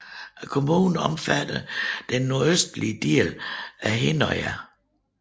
Kommunen omfatter den nordøstlige del af Hinnøya